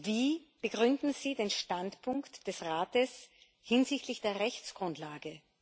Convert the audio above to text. Wie begründen Sie den Standpunkt des Rates hinsichtlich der Rechtsgrundlage?